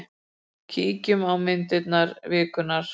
Kíkjum á myndir vikunnar.